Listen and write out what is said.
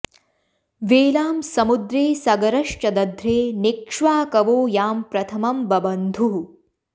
वेलां समुद्रे सगरश्च दध्रे नेक्ष्वाकवो यां प्रथमं बबन्धुः